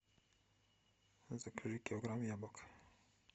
закажи килограмм яблок